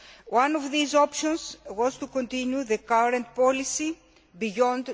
One of these options was to continue the current policy beyond